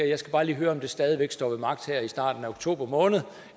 jeg skal bare lige høre om det stadig væk står ved magt her i starten af oktober måned